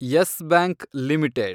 Yes Bank limited